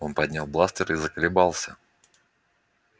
он поднял бластер и заколебался